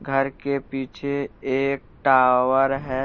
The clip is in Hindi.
घर के पीछे एक टावर है।